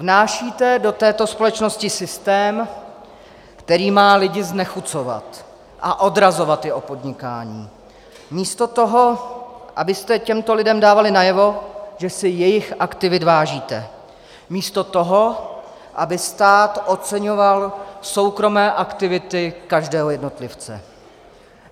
Vnášíte to této společnosti systém, který má lidi znechucovat a odrazovat je od podnikání, místo toho, abyste těmto lidem dávali najevo, že si jejich aktivit vážíte, místo toho, aby stát oceňoval soukromé aktivity každého jednotlivce.